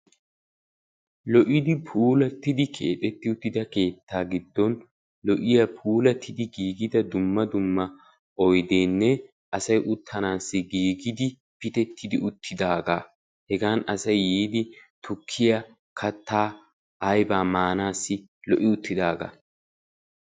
Lo'iidi puulattidi keexettida uttida keettaa giddon lo"iyaa puulattidi giigida dumma dumma oydeenne asay uttanaassi giigidi pitettidi uttidagaa hegaan asay yiidi tukkiyaa kattaa aybaa maanassi lo'i uttidagaa.